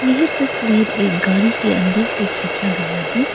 यह तस्वीर एक गाड़ी के अंदर से खींचा गया है।